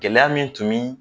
Gɛlɛya min tun min